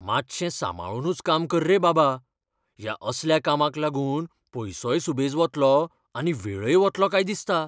मात्शें सांबाळुनूच काम कर रे बाबा. ह्या असल्या कामाक लागून पयसोय सुबेज वतलो आनी वेळय वतलो काय दिसता.